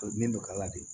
bɛ kala de